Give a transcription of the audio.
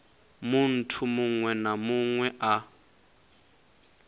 munthu muṅwe na muṅwe a